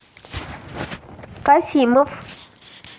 касимов